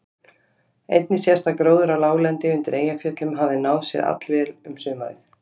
Einnig sést að gróður á láglendi undir Eyjafjöllum hafði náð sér allvel um sumarið.